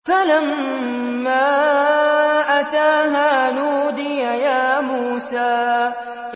فَلَمَّا أَتَاهَا نُودِيَ يَا مُوسَىٰ